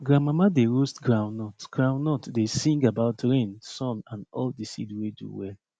grandmama dey roast groundnut groundnut dey sing about rain sun and all the seed wey do well